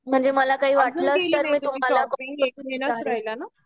म्हणजे मला काही वाटलंच तर